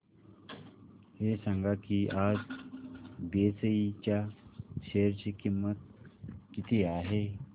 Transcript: हे सांगा की आज बीएसई च्या शेअर ची किंमत किती आहे